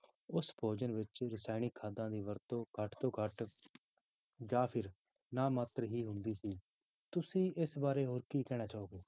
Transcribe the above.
ਉਸ ਭੋਜਨ ਵਿੱਚ ਰਸਾਇਣਿਕ ਖਾਦਾਂ ਦੀ ਵਰਤੋਂ ਘੱਟ ਤੋਂ ਘੱਟ ਜਾਂ ਫਿਰ ਨਾ ਮਾਤਰ ਹੀ ਹੁੰਦੀ ਸੀ, ਤੁਸੀਂ ਇਸ ਬਾਰੇ ਹੋਰ ਕੀ ਕਹਿਣਾ ਚਾਹੋਗੇ।